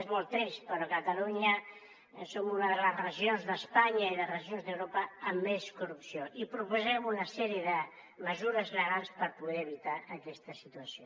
és molt trist però catalunya som una de les regions d’espanya i de les regions d’europa amb més corrupció i proposem una sèrie de mesures legals per poder evitar aquesta situació